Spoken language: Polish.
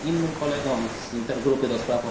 innym kolegom z intergrupy ds.